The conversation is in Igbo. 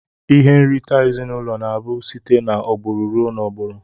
Ihe nrite ezinụlọ na abu site na agburu rụọ na agburu.